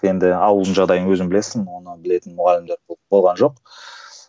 енді ауылдың жағдайын өзің білесің оны білетін мұғалімдер болған жоқ